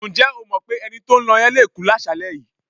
Ǹjẹ́ o mọ̀ pé ẹni tó ń lọ yẹn le kú láṣàálẹ́ yìí?